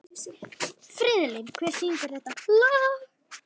Friðlín, hver syngur þetta lag?